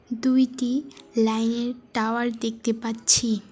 দুইটি লাইনের টাওয়ার দেখতে পাচ্ছি।